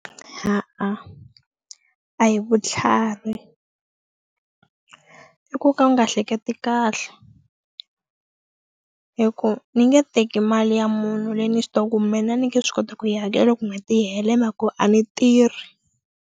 A hi vutlhari i ku ka u nga hleketi kahle hi ku ni nge teki mali ya munhu leyi ni swi tivaku mina ni nge swi koti ku yi hakela loku n'hweti yi hela hi ku a ni tirhi.